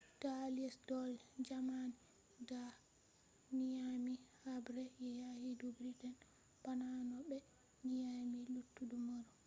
da allies do’i jamani da nyami haɓre yaqi do britain bana no ɓe nyami luttuɗum erop